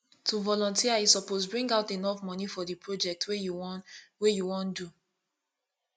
to volunteer you suppose bring out enough moni for di project wey you won wey you won do